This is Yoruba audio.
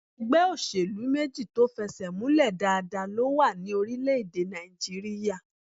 Ẹgbẹ́ òṣèlú méjì tó fẹsẹ̀múlẹ̀ dáadáa ló wà ní orílẹ̀-èdè Nàìjíríyà